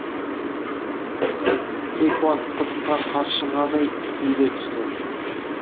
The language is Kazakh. кейқуат құдыққа қаршығадай түйіле түсті